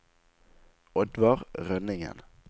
Oddvar Rønningen